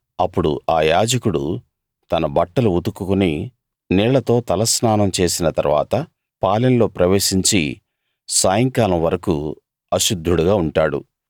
అప్పుడు ఆ యాజకుడు తన బట్టలు ఉతుకుకుని నీళ్లతో తలస్నానం చేసిన తరువాత పాలెంలో ప్రవేశించి సాయంకాలం వరకూ అశుద్ధుడుగా ఉంటాడు